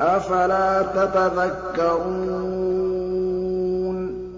أَفَلَا تَتَذَكَّرُونَ